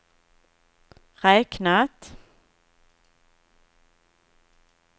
räknat